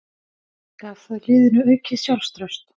Gaf það liðinu aukið sjálfstraust?